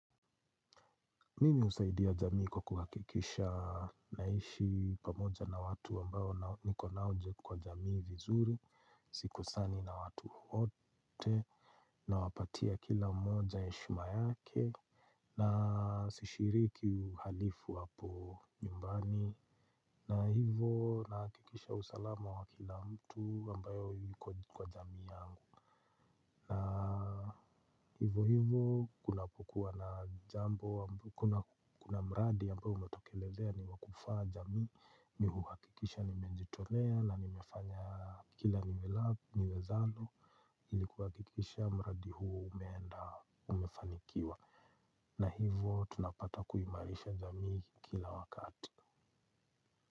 Mimi husaidia jamii kwa kuhakikisha naishi pamoja na watu ambao niko nao kwa jamii vizuri, sikosani na watu wowote, nawapatia kila mmoja heshima yake, na sishiriki uhalifu hapo nyumbani, na hivo nahakikisha usalama wa kila mtu ambayo yuko kwa jamii yangu. Na hivo hivo kuna kukuwa na jambo kuna mradi ambao umetokelezea ni wa kufaa jamii mi huhakikisha nimejitolea na nimefanya kila niwezavyo ili kuhakikisha mradi huo umeenda umefanikiwa na hivo tunapata kuhimarisha jamii kila wakati.